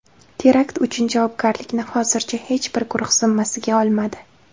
Terakt uchun javobgarlikni hozircha hech bir guruh zimmasiga olmadi.